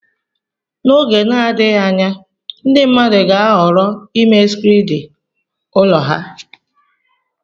N'oge na-adịghị anya ndị mmadụ ga-ahọrọ ịme skriidi ụlọ ha.